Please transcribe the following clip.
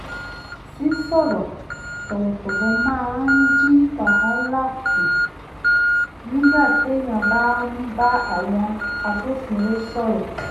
sísọ̀ọ̀rọ̀ tọ̀wọ̀tọ̀wọ̀ máa ń dín wàhálà kù nígbà téèyàn bá ń bá àwọn agbófinró sọ̀rọ̀